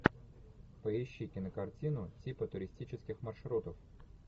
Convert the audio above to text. поищи кинокартину типы туристических маршрутов